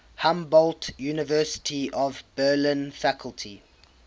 humboldt university of berlin faculty